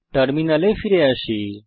টার্মিনালে ফিরে আসি